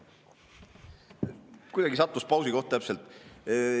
Kuidagi sattus pausi koht täpselt.